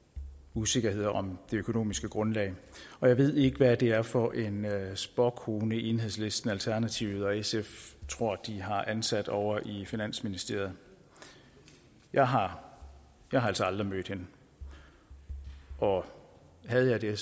usikkerhed om det økonomiske grundlag og jeg ved ikke hvad det er for en spåkone enhedslisten alternativet og sf tror de har ansat ovre i finansministeriet jeg har altså aldrig mødt hende og havde jeg det